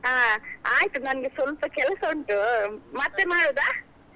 ಅಹ್ ಆಯ್ತು ನಂಗೆ ಸ್ವಲ್ಪ ಕೆಲಸ ಉಂಟು ಮತ್ತೆ ಮಾಡುದ?